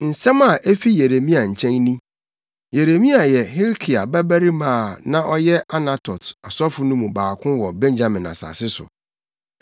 Nsɛm a efi Yeremia nkyɛn ni. Yeremia yɛ Hilkia babarima a na ɔyɛ Anatot asɔfo no mu baako wɔ Benyamin asase so.